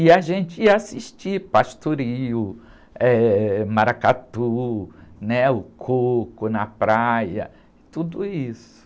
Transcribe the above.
E a gente ia assistir pastoril, eh, maracatu, né? O coco na praia, tudo isso.